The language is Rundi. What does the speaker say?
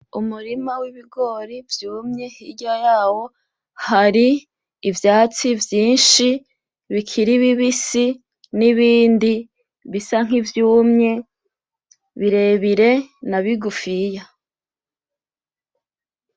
Umurima wibigori vyumye hirya yawo hari ivyatsi vyinshi bikiri bibisi nibindi bisa nkivyumye birebire na bigufiya